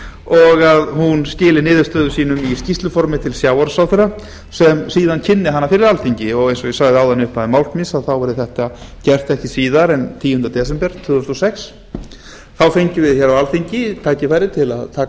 og að hún skili niðurstöðum sínum í skýrsluformi til sjávarútvegsráðherra sem síðan kynni hana fyrir alþingi eins og ég sagði í upphafi máls míns verði þetta gert ekki síðar en tíundi des tvö þúsund og sex þá fengjum við tækifæri til að taka